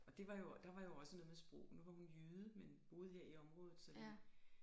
Og det var jo der var jo også noget med sprog nu var hun jyde men boede her i området så vi